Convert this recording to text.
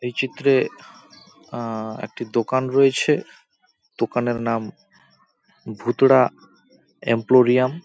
এই চিত্রে আ-একটি দোকান রয়েছে দোকানের নাম ভুতড়া এম্পোরিয়াম ।